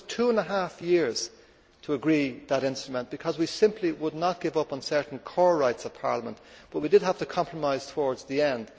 It took us two and a half years to agree that instrument because we simply would not give up on certain core rights of Parliament, but we did have to compromise towards the end.